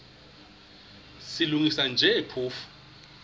silungisa nje phofu